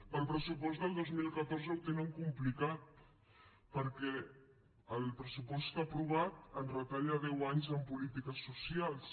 per al pressupost del dos mil catorze ho tenen complicat perquè el pressupost aprovat ens retalla deu anys en polítiques socials